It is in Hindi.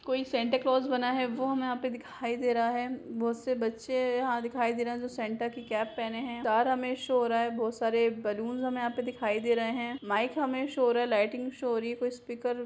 कोई सेंटा क्लॉस बना है वो हमें यहाँ पे दिखाई दे रहा है बहुत से बच्चे यहाँ दिखाई दे रहे हैं जो सेंटा की कैप पहने हैं स्टार हमें शो हो रहा है बहुत सारे बैलून हमें यहाँ पे दिखाई दे रहे हैं माइक हमें शो हो रहा है लाइटिंग शो हो रही है कोई स्पीकर --